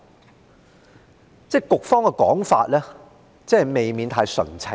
就是說，局方的說法未免太純情。